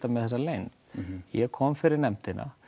með þessa leynd ég kom fyrir nefndina